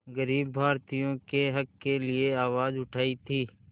ग़रीब भारतीयों के हक़ के लिए आवाज़ उठाई थी